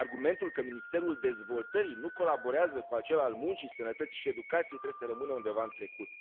Argumentul că Ministerul Dezvoltării nu colaborează cu acela al Muncii, Sănătății și Educației trebuie să rămână undeva în trecut.